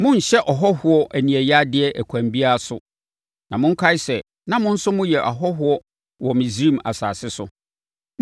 “Monnhyɛ ɔhɔhoɔ aniɛyaadeɛ ɛkwan biara so; na monkae sɛ, na mo nso moyɛ ahɔhoɔ wɔ Misraim asase so.